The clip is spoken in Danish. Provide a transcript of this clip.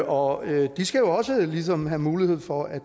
og de skal også ligesom have mulighed for at